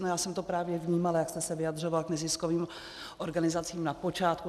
No, já jsem to právě vnímala, jak jste se vyjadřoval k neziskovým organizacím na počátku.